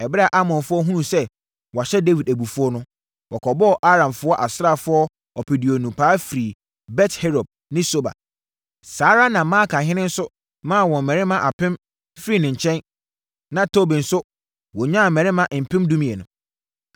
Ɛberɛ a Amonfoɔ hunuu sɛ wɔahyɛ Dawid abufuo no, wɔkɔbɔɔ Aramfoɔ asraafoɔ ɔpeduonu paa firii Bet-Rehob ne Soba. Saa ara na Maakahene nso maa wɔn mmarima apem firii ne nkyɛn, na Tob nso wɔnyaa mmarima mpem dumienu.